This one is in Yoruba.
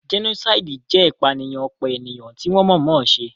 Jẹ́nósáìdì jẹ́ ìpànìyàn ọ̀pọ̀ ènìyàn tí wọ́n mọ̀ọ́ mọ̀ se